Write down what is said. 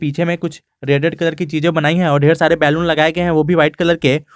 पीछे मे कुछ रेडेड कलर के चीजे बनाई है और ढेर सारे बैलून लगाए गए हैं ओ भी वाइट कलर के।